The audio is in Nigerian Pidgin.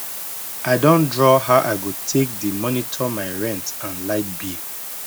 i Accepted draw how i go take dey monitor my rent and light bill